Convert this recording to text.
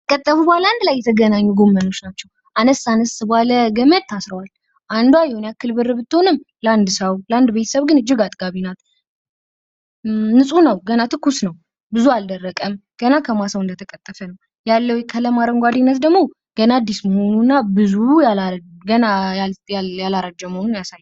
አንድ ላይ የተገናኙ ጎመኖች ናቸው። አነስ አነስ ባለ ገመድ ታስረዋል። አንዷ ይሄን ያክል ብር ብትሆንም ለአንድ ሰው ቤተሰብ ግን እጅግ አጥጋቢ ናት። ንጹህ ነው ፣ገና ትኩስ ነው ፣ ብዙ አልደረቀም ገና ከማሳው እንደተቀጠፈ ነው። ያለው የቀለም አረንጓዴነት ደግሞ ገና አዲስ መሆኑን እና ብዙ ገና ያላረጀ መሆኑን ያሳያል።